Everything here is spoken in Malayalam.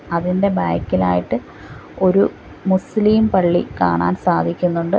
അതിൻ്റെ ബാക്കിലായിട്ട് ഒരു മുസ്ലിം പള്ളി കാണാൻ സാധിക്കുന്നുണ്ട്.